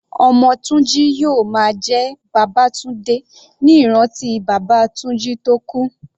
Ọmọ Tunji yóò máa jẹ́ Babatunde ní ìrántí bàbá Tunji tó kú.